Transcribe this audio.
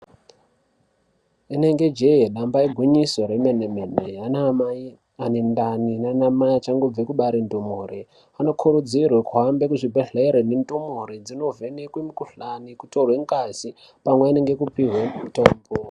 Rinenge jee nyamba igwinyiso remene-mene, anamai ane ndani naanamai achangobve kubare ndumure anokurudzirwe kuhambe kuzvibhedhlera nendumure dzinovhenekwe mukhuhlani, kutorwe ngazi, pamweni nekupihwe mitombo